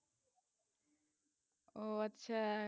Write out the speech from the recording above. ও আচ্ছা।